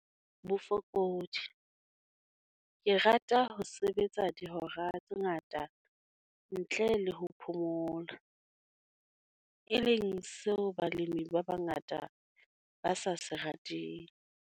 Bofokodi- Ke rata ho sebetsa dihora tse ngata ntle le ho phomola, e leng seo balemi ba bangata ba sa se rateng.